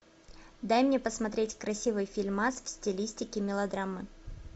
дай мне посмотреть красивый фильмас в стилистике мелодрама